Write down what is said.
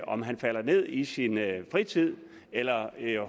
om man falder ned i sin fritid eller